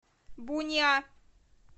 буниа